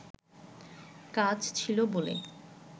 কাজ ছিল বলে